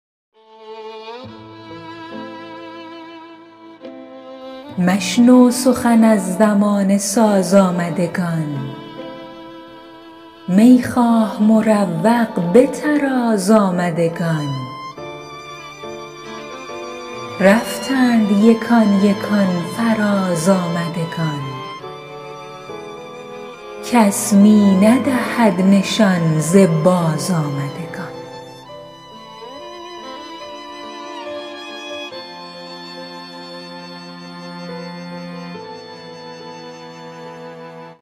مشنو سخن از زمانه ساز آمدگان می خواه مروق به طراز آمدگان رفتند یکان یکان فراز آمدگان کس می ندهد نشان ز بازآمدگان